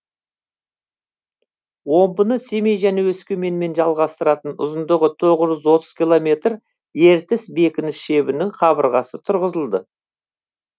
омбыны семей және өскеменмен жалғастыратын ұзындығы тоғыз жүз отыз километр ертіс бекініс шебінің қабырғасы тұрғызылды